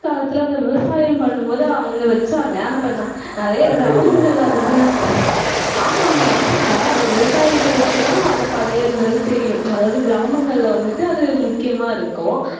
காலத்துல, அந்த விவசாயம் பண்ணும் போது, அவங்க வச்சாங்க. ஆனா, ப~ நிறைய கிராமங்கள் அதெல்லாம் ஆமா ஆமா அதுதாண்டா. விவசாயிகளுக்குதான், அந்த படையல்ங்கிறது தெரியும். அதாவது, கிராமங்கள்ல வந்துட்டு, அது முக்கியமா இருக்கும்.